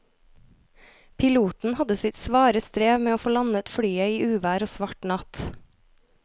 Piloten hadde sitt svare strev med å få landet flyet i uvær og svart natt.